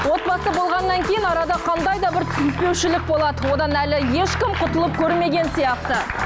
отбасы болғаннан кейін арада қандай да бір түсініспеушілік болады одан әлі ешкім құтылып көрмеген сияқты